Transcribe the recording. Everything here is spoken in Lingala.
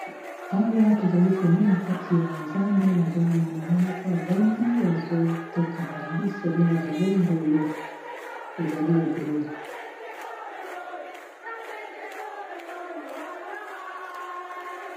awa tozali komona kati ya zando nazomona mama moko avandi azoteka bambisi babengaka ngo ngolo ezali ebele